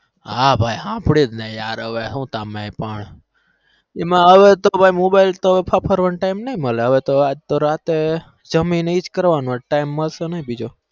હા ભાઈ હા હભ્રેયું તમે પણ એમાં મોબાઇલ ફરફરવા નો time નઈ મલે જમીને એજ કરવાનું માટે time નઈ મલે